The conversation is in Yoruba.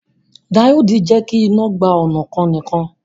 Díòdì jẹ́kí iná gba ọnà kan nìkan